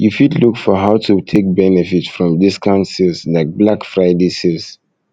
you fit look for how to take benefit from discount sales like black friday sales